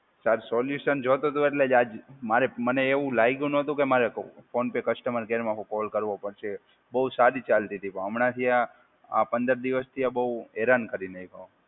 Sir solution જોતું તું એટલે આજ મારે મને એવું લાગ્યું નતું કે મારે ફોન પે કસ્ટમર કેરમાં કોલ કરવો પડશે. બહુ સારી ચાલતી હતી. પણ હમણાંથી આ આ પંદર દિવસથી આ બહુ હેરાન કરી નાખ્યા.